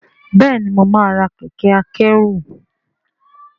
bẹẹni mọ má rà Kẹ̀kẹ́ akẹ́rù.